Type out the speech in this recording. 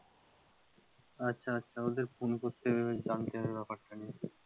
আচ্ছা আচ্ছা ওদের phone করতে হবে জানতে হবে ব্যাপারটা,